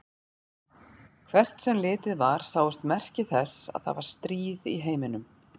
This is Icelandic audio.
Hvert sem litið var sáust merki þess að það var stríð í heiminum.